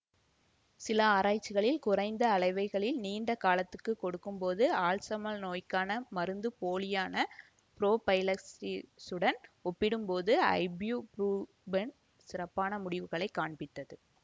சில ஆராய்ச்சிகளில் குறைந்த அளவைகளில் நீண்ட காலத்துக்குக் கொடுக்கும்போது ஆல்சைமர் நோய்க்கான மருந்துப்போலியான புரோஃபைலக்ஸிஸுடன் ஒப்பிடும்போது ஐப்யூபுரூஃபன் சிறப்பான முடிவுகளை காண்பித்தது